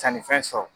Sannifɛn sɔrɔ